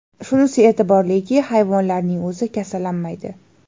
Shunisi e’tiborliki, hayvonlarning o‘zi kasallanmaydi.